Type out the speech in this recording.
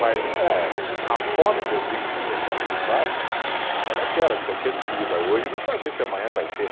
Mas não é, a fome que eu digo que o pessoal passava era daquela de você ter comida hoje e não saber se amanhã vai ter.